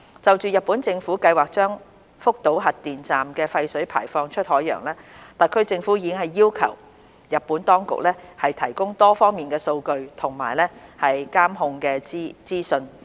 就日本政府計劃將福島核電站的廢水排放出海洋，特區政府已要求日本當局提供多方面的數據和監控的資訊。